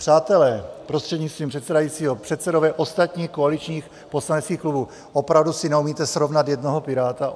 Přátelé, prostřednictvím předsedajícího, předsedové ostatních koaličních poslaneckých klubů, opravdu si neumíte srovnat jednoho piráta?